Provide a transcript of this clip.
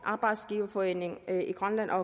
arbejdsgiverforeningen i grønland og